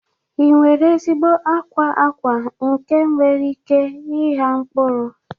Ị nwere ezigbo akwa akwa nke nwere ike ịgha mkpụrụ?